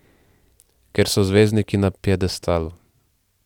Ker so zvezdniki na piedestalu.